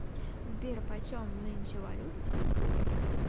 сбер почем нынче валюта в тинькоф